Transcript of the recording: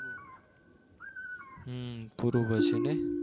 હમ પૂરું કરશો નહિ